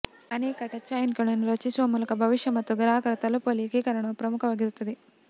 ಅನೇಕ ಟಚ್ಪಾಯಿಂಟ್ಗಳನ್ನು ರಚಿಸುವ ಮೂಲಕ ಭವಿಷ್ಯ ಮತ್ತು ಗ್ರಾಹಕರನ್ನು ತಲುಪುವಲ್ಲಿ ಏಕೀಕರಣವು ಪ್ರಮುಖವಾಗಿರುತ್ತದೆ